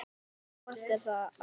Svo margt er að þakka.